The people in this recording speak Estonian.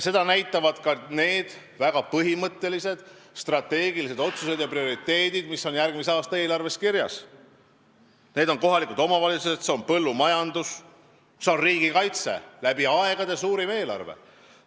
Seda näitavad ka need väga põhimõttelised, strateegilised otsused ja prioriteedid, mis on järgmise aasta eelarves kirjas: kohalikud omavalitsused, põllumajandus, riigikaitse, läbi aegade suurim eelarve.